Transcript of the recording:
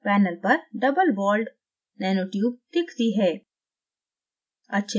panel पर doublewalled दोहरी दीवार nanotube दिखती है